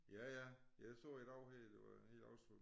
Ja ja jeg så i dag her det var helt oversvømmet